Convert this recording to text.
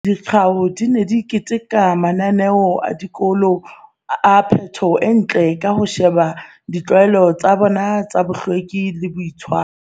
Dikgao di ne di keteka mananeo a dikolo a phepo e ntle ka ho sheba ditlwaelo tsa tsona tsa bohlweki le boitshire